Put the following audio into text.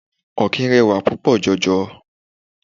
Ọ̀kín rẹwà púpò jọ jọ.